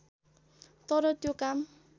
तर त्यो काम